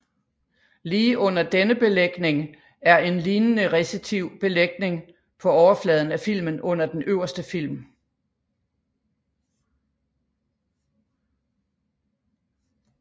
Lige under denne belægning er en lignende resistiv belægning på overfladen af filmen under den øverste film